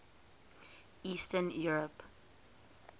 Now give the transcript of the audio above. eastern europe